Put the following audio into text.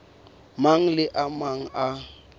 mang le a mang a